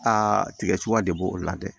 Aa tigɛ cogoya de b'o o la dɛ